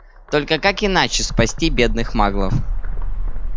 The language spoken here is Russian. только как иначе спасти бедных маглов